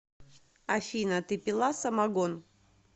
афина ты пила самогон